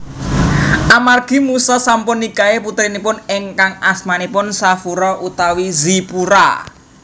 Amargi Musa sampun nikahi putrinipun ingkang asmanipun Shafura utawi Zipora